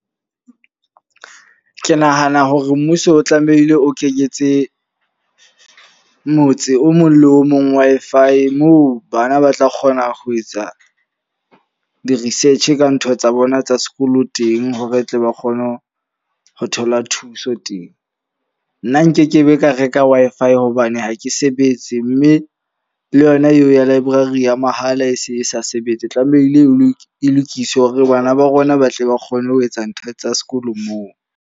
Ke nahana hore mmuso o tlamehile o kenyetse motse o mong le o mong Wi-Fi. Moo bana ba tla kgona ho etsa di-research ka ntho tsa bona tsa sekolo teng. Hore tle ba kgone ho ho thola thuso teng. Nna nkekebe ka reka Wi-Fi hobane ha ke sebetse. Mme le yona eo ya library ya mahala e se e sa sebetse. Tlamehile e lokiswe hore bana ba rona ba tle ba kgone ho etsa ntho tsa sekolo moo.